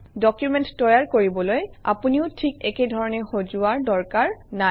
document তৈয়াৰ কৰিবলৈ আপুনিও ঠিক এইধৰণেই সজোৱাৰ দৰকাৰ নাই